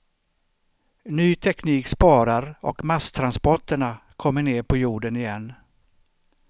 Ny teknik sparar och masstransporterna kommer ner på jorden igen.